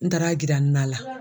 N taara jira n na la.